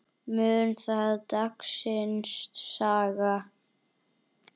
Mun það dagsins saga.